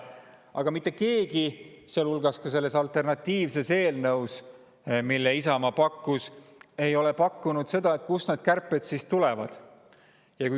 Aga mitte keegi, ka selles alternatiivses eelnõus, mille Isamaa välja pakkus, ei ole välja pakkunud seda, kust need kärped siis tulevad.